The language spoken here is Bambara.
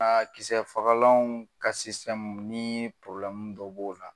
Ka kisɛ fagalan ka ni dɔ b'o la